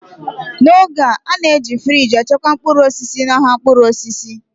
n'oge a, a na-eji friji echekwa mkpụrụ osisi n'ahịa mkpụrụ osisi